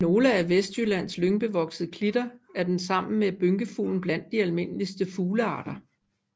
I nogle af Vestjyllands lyngbevoksede klitter er den sammen med bynkefuglen blandt de almindeligste fuglearter